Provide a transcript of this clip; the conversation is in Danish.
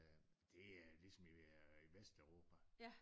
Det er ligesom i Vesteuropa